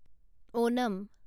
Onam